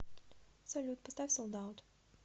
салют поставь солд аут